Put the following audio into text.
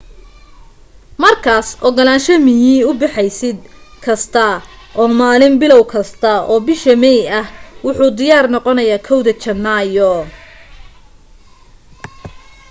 markaas ogolaansho miyi u bixiseed kasta oo maalin bilow kasta oo bisha may ah wuxu diyaar noqonayaa 1 da janaayo